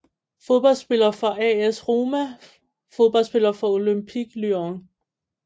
Fodboldspillere fra AS Roma Fodboldspillere fra Olympique Lyon